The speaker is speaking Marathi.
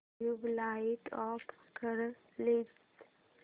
ट्यूबलाइट ऑफ कर प्लीज